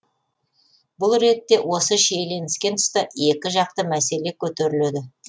бұл ретте осы шиелініскен тұста екі жақты мәселе көтеріледі